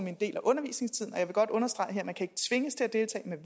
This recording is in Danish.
en del af undervisningstiden og jeg vil godt understrege her at man ikke kan tvinges til at deltage